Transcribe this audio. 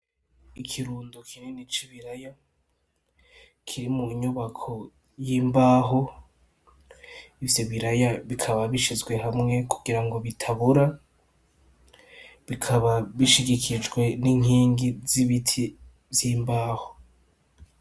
Ikirundo kinini c'ibiraya kiri mu nyubako y'imbaho. Ivyo biraya bikaba bishizwe hamwe kugira ngo bitabora, bikaba bishigikijwe n'inkingi z'ibiti z'imbaho.